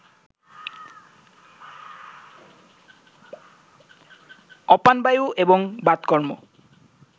অপানবায়ু এবং বাতকর্ম